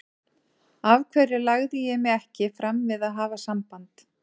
Af hverju lagði ég mig ekki fram við að hafa samband?